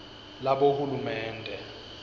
labohulumende